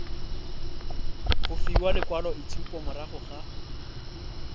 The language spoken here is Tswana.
go fiwa lekwaloitshupo morago ga